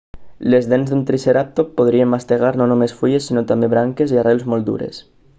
les dents d'un triceratop podrien mastegar no només fulles sinó també branques i arrels molt dures